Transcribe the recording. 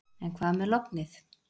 En hvað með lognið.